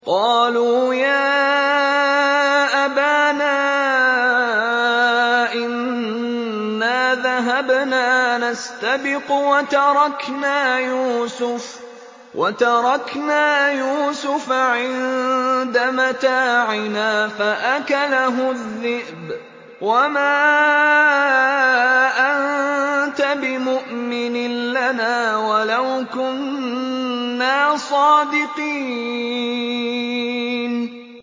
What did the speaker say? قَالُوا يَا أَبَانَا إِنَّا ذَهَبْنَا نَسْتَبِقُ وَتَرَكْنَا يُوسُفَ عِندَ مَتَاعِنَا فَأَكَلَهُ الذِّئْبُ ۖ وَمَا أَنتَ بِمُؤْمِنٍ لَّنَا وَلَوْ كُنَّا صَادِقِينَ